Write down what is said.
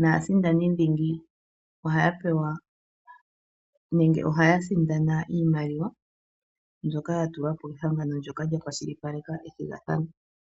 naasindani dhingi ohaya pewa nenge ohaya sindana iimaliwa mbyoka yatulwa po kehangano ndyoka lyakwashilipaleka ethigathano.